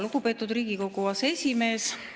Lugupeetud Riigikogu aseesimees!